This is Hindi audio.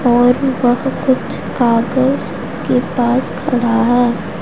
और वह कुछ कागज के पास खड़ा है।